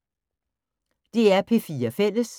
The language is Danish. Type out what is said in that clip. DR P4 Fælles